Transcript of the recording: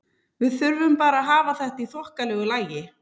Við þurfum bara að hafa þetta í þokkalegu lagi.